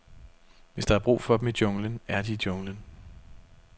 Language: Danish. Hvis der er brug for dem i junglen, er de i junglen.